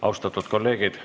Austatud kolleegid!